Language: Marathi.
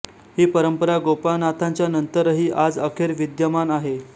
ही परंपरा गोपाळनाथांच्या नंतरही आज अखेर विद्यमान आहे